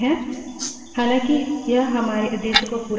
हालाँकि यह हमारे उद्देश्य को पूरा करता है पर वहाँ कुछ परेशानियाँ हैं